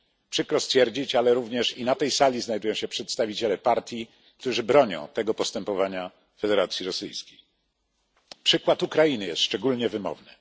Przykro stwierdzić, ale również i na tej sali znajdują się przedstawiciele partii, którzy bronią tego postępowania Federacji Rosyjskiej. Przykład Ukrainy jest szczególnie wymowny.